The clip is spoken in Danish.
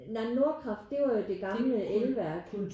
Nej Nordkraft det er jo det gamle elværk